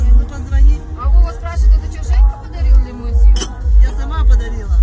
позвонила возврата денег подарил мне мой сын я сама подарила